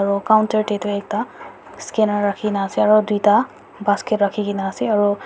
aru counter te tu ekta scanner rakhi kina ase aru duita basket rakhi kina ase aru--